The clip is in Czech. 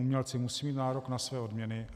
Umělci musí mít nárok na své odměny.